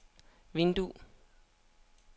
vindue